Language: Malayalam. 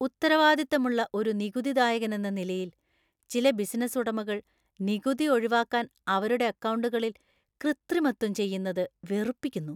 ഉത്തരവാദിത്തമുള്ള ഒരു നികുതിദായകനെന്ന നിലയിൽ, ചില ബിസിനസ്സ് ഉടമകൾ നികുതി ഒഴിവാക്കാൻ അവരുടെ അക്കൗണ്ടുകളിൽ കൃത്രിമത്വം ചെയ്യുന്നത് വെറുപ്പിക്കുന്നു .